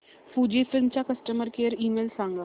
Fujifilm चा customer care email सांगा